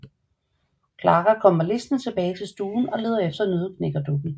Clara kommer listende tilbage til stuen og leder efter Nøddeknækkerdukken